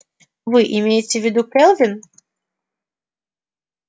вы имеете в виду кэлвин